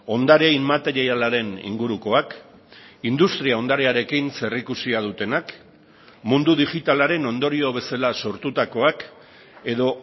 ondare inmaterialaren ingurukoak industria ondarearekin zerikusia dutenak mundu digitalaren ondorio bezala sortutakoak edo